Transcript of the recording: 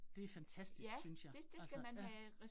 Det fantastisk synes jeg, altså ja